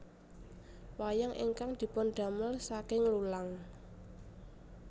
Wayang ingkang dipundamel saking lulang